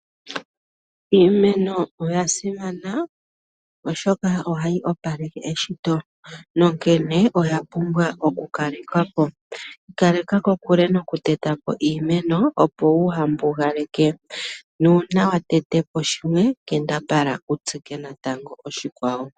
Iimeno oya simana oshoka ohayi opaleke eshito nonkene oya pumbwa oku kalekwapo. Ikaleka kokule nokutetapo iimeno opo wuhambugaleke nuuna watetepo shimwe kambadhala wutsike natango oshikwawo.